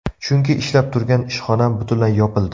Chunki ishlab turgan ishxonam butunlay yopildi.